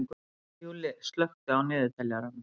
Júlli, slökktu á niðurteljaranum.